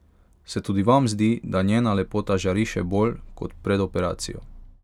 Se tudi vam zdi, da njena lepota žari še bolj kot pred operacijo?